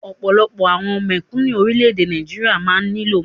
Ọ̀pọ̀lọpọ̀ àwọn mèkúnù orilẹ ede Nigeria máa ni lo Maggi.